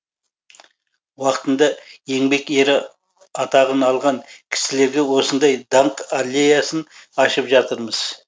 уақытында еңбек ері атағын алған кісілерге осындай даңқ аллеясын ашып жатырмыз